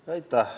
Aitäh!